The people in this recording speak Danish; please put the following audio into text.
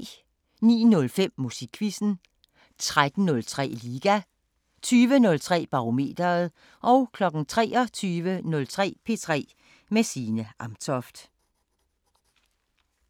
09:05: Musikquizzen 13:03: Liga 20:03: Barometeret 23:03: P3 med Signe Amtoft